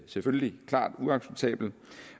selvfølgelig klart uacceptabel